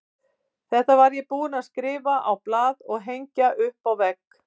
Þetta var ég búinn að skrifa á blað og hengja upp á vegg.